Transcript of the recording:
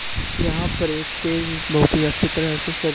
यहाँ पर एक स्टेज बहुत ही अच्छी तरह से सज--